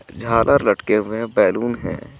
झालर लटके हुए बैलून है.